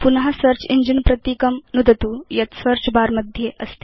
पुन search engine प्रतीकं नुदतु यत् सेऽर्च बर मध्ये अस्ति